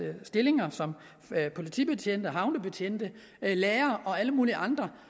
stillinger som politibetjente og havnebetjente lærere og alle mulige andre